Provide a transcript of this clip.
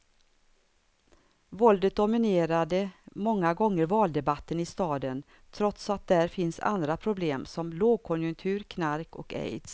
Våldet dominerade många gånger valdebatten i staden, trots att där finns andra problem som lågkonjunktur, knark och aids.